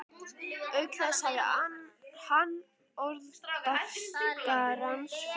Auk þess hafði hann orð bartskerans fyrir því að